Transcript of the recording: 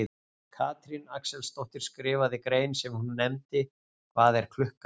Katrín Axelsdóttir skrifaði grein sem hún nefndi Hvað er klukkan?